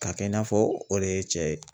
K'a kɛ i n'a fɔ o de ye cɛ ye.